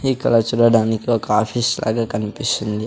ఈ కలర్ చూడడానికి ఒక ఆఫీస్ లాగ కనిపిస్తుంది.